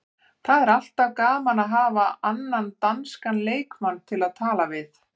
Það er alltaf gaman að hafa annan danskan leikmann til að tala við.